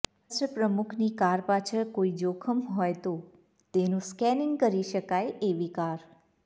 રાષ્ટ્રપ્રમુખની car પાછળ કોઈ જોખમ હોય તો તેનું સ્કેનિંગ કરી શકાય એવી કાર